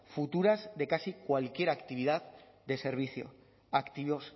futuras de casi cualquier actividad de servicio activos